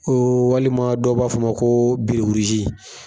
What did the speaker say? walima dɔ b'a fɔ o ma ko